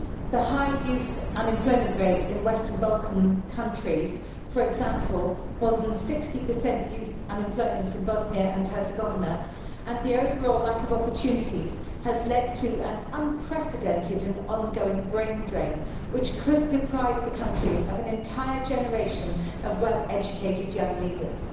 The high youth unemployment rate in Western Balkan countries for example, more than 60 youth unemployment in Bosnia and Herzegovina and the overall lack of opportunities has led to an unprecedented and ongoing brain drain which could deprive the country of an entire generation of well-educated young leaders.